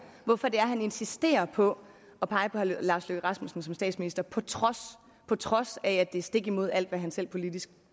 hvorfor det er han insisterer på at pege på herre lars løkke rasmussen som statsminister på trods på trods af at det går stik imod alt hvad han selv politisk